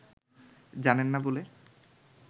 জানেন না বলে